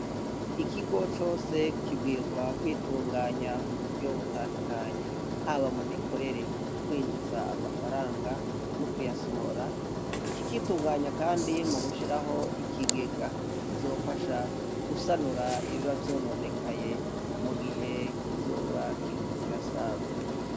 Ikigo cose kibwirizwa kwitunganya mu buryo butandukanye, haba mu mikorere, kwinjiza amafaranga no kuyasohora, kikitunganya kandi mu gushiraho ikigega kizofasha gusanura ibiba vyononekaye mu gihe kizoba kiriko kirasaza.